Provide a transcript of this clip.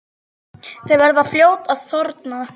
Þau verða fljót að þorna.